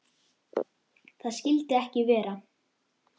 Það skyldi ekki vera.